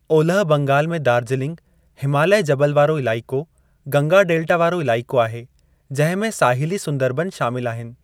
ओलह बंगाल में दार्जिलिंग हिमालय जबल वारो इलाइक़ो, गंगा डेल्टा वारो इलाइक़ो आहे जंहिं में, साहिली सुंदरबन शामिलु आहिनि।